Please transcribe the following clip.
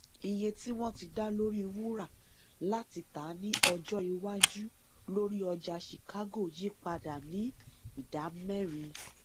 iye tí wọn ti dá lórí wúrà láti tà ní ọjọ iwájú lórí ọjà chicago yí padà ní ìdámẹrin